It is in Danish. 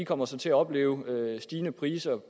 kommer så til at opleve stigende priser